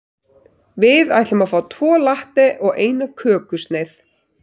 Við ætlum að fá tvo latte og eina kökusneið.